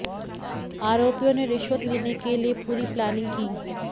आरोपियों ने रिश्वत लेने के लिए पूरी प्लानिंग की